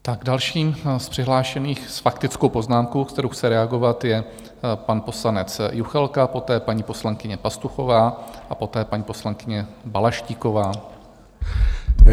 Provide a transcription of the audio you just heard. Tak dalším z přihlášených s faktickou poznámkou, kterou chce reagovat, je pan poslanec Juchelka, poté paní poslankyně Pastuchová a poté paní poslankyně Balaštíková.